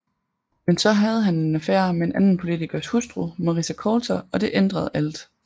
Men så havde han en affære med en anden politikers hustru Marisa Coulter og det ændrede alt